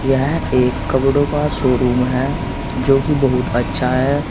यह एक कपड़ों का शोरूम है जो कि बहुत अच्छा है।